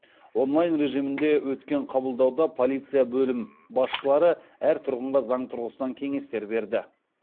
онлайн режимінде өткен қабылдауда полицияның бөлім басшылары әр тұрғынға заң тұрғысынан кеңестер берді